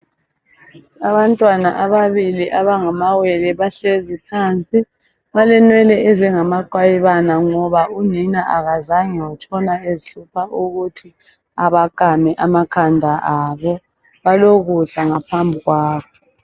Abantwana sbabili abangamawelel bahlezi phansi balenwele ezingamaqwayibana ngoba unina akazange atshone ezihlupha ukuthi abakame amakhanda abo. Balokudla ngaphambi kwabo.